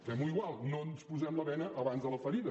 fem ho igual no ens posem la bena abans de la ferida